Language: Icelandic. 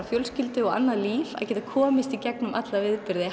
fjölskyldu og annað líf að geta komist í gegnum alla viðburði